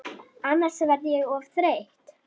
Annars verð ég of þreytt.